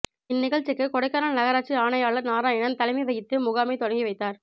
இந் நிகழ்ச்சிக்கு கொடைக்கானல் நகராட்சி ஆணையாளா் நாராயணன் தலைமை வகித்து முகாமை தொடங்கி வைத்தாா்